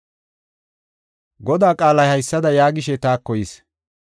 Godaa qaalay haysada yaagishe taako yis.